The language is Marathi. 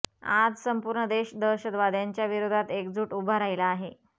आज संपूर्ण देश दहशतवाद्यांच्या विरोधात एकजूट उभा राहिला आहे